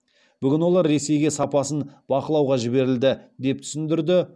бүгін олар ресейге сапасын бақылауға жіберілді деп түсіндірді